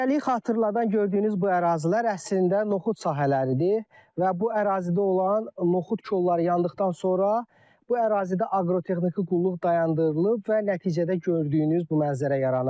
Cəngəliyi xatırladan gördüyünüz bu ərazilər əslində noxud sahələridir və bu ərazidə olan noxud kolları yandıqdan sonra bu ərazidə aqrotexniki qulluq dayandırılıb və nəticədə gördüyünüz bu mənzərə yaranıb.